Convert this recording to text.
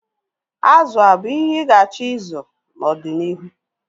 Azụ abụ ihe ị ga-achọ ịzụ n'ọdịnihu?